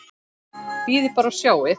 Bíðið bara og sjáið!